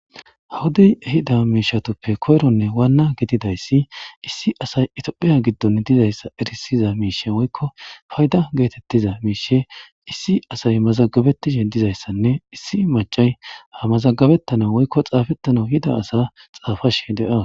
Hawodey ehizza mishatuppe koyronne wanna gididday issi asay etophiyya giddon dizzayssa errissiya faydda matiqqiua mazagabetishe dizayssa mazagabetanawnne xaffashe daws.